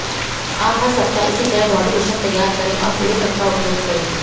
आप हर सप्ताह इसी तरह बॉडी लोशन तैयार करें और पूरे सप्ताह उपयोग करें